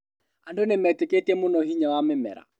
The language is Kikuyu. Andũ nĩmeetĩkĩtie mũno hinya wa mĩmera